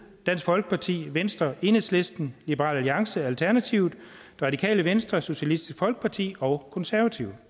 dansk folkeparti venstre enhedslisten liberal alliance alternativet det radikale venstre socialistisk folkeparti og konservative